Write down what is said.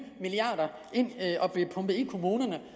milliarder ind til at blive pumpet i kommunerne